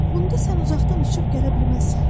Bunda sən uzaqdan uçub gələ bilməzsən.